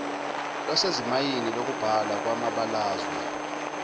lwasezimayini lokubhalwa kwamabalazwe